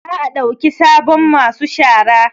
Za a ɗauki sabon masu shara